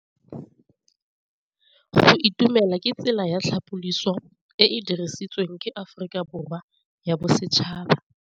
Go itumela ke tsela ya tlhapolisô e e dirisitsweng ke Aforika Borwa ya Bosetšhaba.